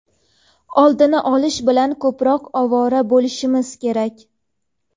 oldini olish bilan ko‘proq ovora bo‘lishimiz kerak.